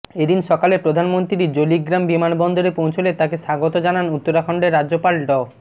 এদিন সকালে প্রধানমন্ত্রী জোলিগ্রাম বিমানবন্দরে পৌঁছলে তাঁকে স্বাগত জানান উত্তরাখণ্ডের রাজ্যপাল ড